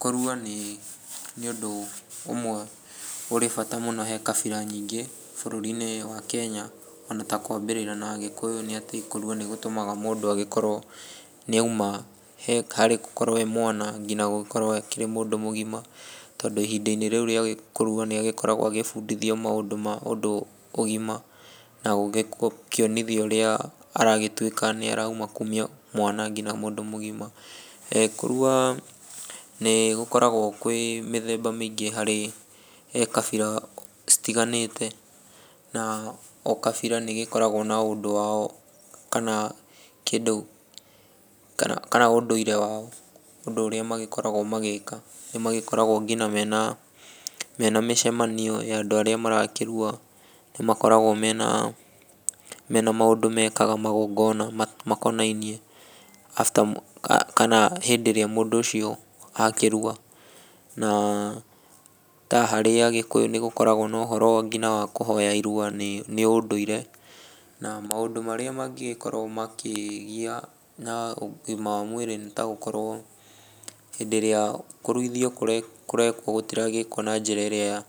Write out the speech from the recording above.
Kũrua ni ũndũ ũmwe ũrĩ bata mũno he kabira nyingĩ bũrũri-inĩ wa Kenya, ona ta kwambĩrĩra na Agĩkũyũ ni atĩ kũrua nĩ gũtũmaga mũndũ agĩkorwo nĩ auma harĩ gũkorwo ee mwana nginya gũkorwo akĩrĩ mũndũ mũgima. Tondũ ihinda-inĩ rĩu rĩa kũrua nĩagĩkoragwo agĩbundithio maũndũ ma ũndũ ũgima, na gũkĩonithio ũrĩa aragĩtwĩka ni arauma kumia mwana nginya mũndũ mũgima. Kũrua ni gũkoragwo kwĩ mĩthemba mĩingĩ harĩ kabira citiganĩte. Na o kabira nĩgĩkoragwo na o ũndũ wao, kana kĩndũ, kana ũndũire wao, ũndũ ũrĩa magĩkoragwo magĩka. Nĩmagĩkoragwo nginya mena mĩcemanio ya andũ arĩa marakĩrua. Nĩmakoragwo mena maũndũ mekaga magongona makonainie hĩndĩ ĩrĩa mũndũ ũcio akĩrua. Na ta harĩ Agĩkũyũ nĩ gũkoragwo na ũhoro wa kũhoya irua ni ũndũire. Na maũndũ marĩa mangĩgĩkorwo makĩgia na ũgima wa mwĩrĩ nĩ ta gũkorwo hĩndĩ ĩrĩa kũruithio kũrekwo gũtiragĩkwo na njĩra ĩrĩa